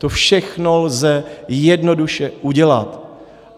To všechno lze jednoduše udělat.